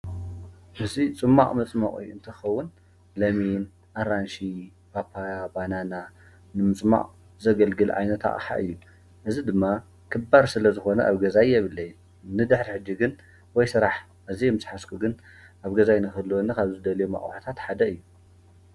እዚ ፅማቕ መፅመቂ እንትኸውን ለሚን፣ ኣራንሺ፣ ፓፓያ፣ ባናና ንምፅማቕ ዘገልግል ዓይነት ኣቕሓ እዩ። እዚ ድማ ክባር ስለዝኾነ ኣብ ገዛይ የብለይን። ንድሕሪ ሕጂ ግን ወይ ስራሕ ግዜ ምስሓዝኩ ግን ኣብ ገዛይ ንክህልየኒ ካብ ልደልዮም ኣቑሑታት ሓደ እዩ።